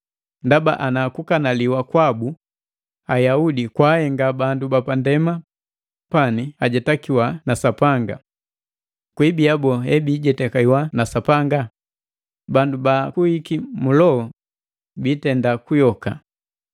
Ndaba ana kukanaliwa kwabu Ayaudi kwaahenga bandu bapandema pani ajetakiwa na Sapanga, kwibia boo he biijetakiwa na Sapanga? Bandu baakuiki mu loho biitenda kuyoka.